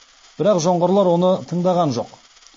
бірақ жоңғарлар оны тыңдаған жоқ